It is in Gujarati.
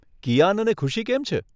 કિયાન અને ખુશી કેમ છે?